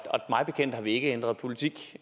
og mig bekendt har vi ikke ændret politik